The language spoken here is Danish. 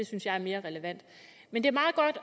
synes jeg er mere relevant men det